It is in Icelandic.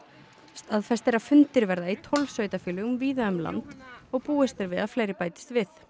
staðfest er að fundir verða í tólf sveitarfélögum víða um land og búist er við að fleiri bætist við